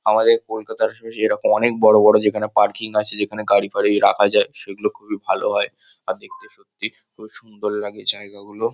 আমাদের কলকাতার হুম এরকম অনেক বড়ো বড়ো যেখানে পার্কিং আছে যেখানে গাড়ি-ফারি রাখা যায় সেগুলো খুবই ভালো হয় । আর দেখতে সত্যি খুব সুন্দর লাগে জায়গাগুলো।